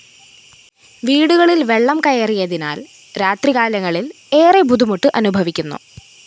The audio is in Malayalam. വീടുകളില്‍ വെള്ളം കയറിയതിനാല്‍ രാത്രികാലങ്ങളില്‍ ഏറെ ബുദ്ധിമുട്ട് അനുഭവിക്കുന്നു